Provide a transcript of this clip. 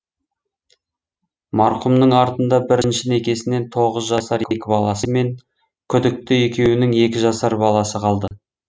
марқұмның артында бірінші некесінен тоғыз жасар екі баласы мен күдікті екеуінің екі жасар баласы қалды